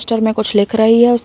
register मैं कुछ लिख रही है --